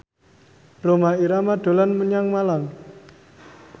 Rhoma Irama dolan menyang Malang